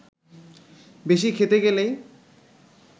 বেশি খেতে গেলেই